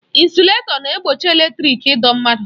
Ịnsụletọ na-egbochi eletrịk ịdọ mmadụ.